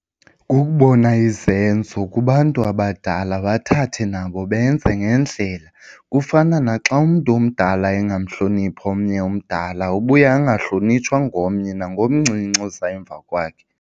Kukubona izenzo kubantu abadala bathathe nabo benze ngendlela. Kufana naxa umntu omdala engamhloniphi omnye umdala ubuya angahlonitshwa ngomnye nangomncinci oza emva kwakhe.